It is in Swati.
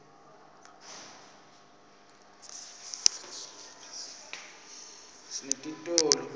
sinetitolo temculo